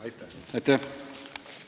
Aitäh!